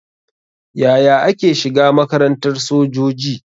Yaya ake shiga makarantar sojoji?